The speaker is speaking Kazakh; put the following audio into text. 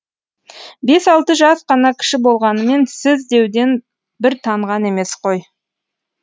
бес алты жас қана кіші болғанымен сіз деуден бір танған емес қой